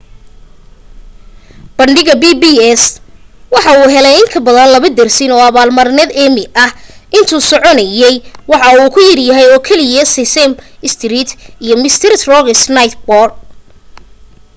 bandhiga pbs waxa uu helay in ka badan laba dersin oo abaalmarinaha emmy ah intuu socdayna waxa uu ka yaryahay oo keliya sesame street iyo mister rogers' neighborhood